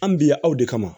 An bi yan aw de kama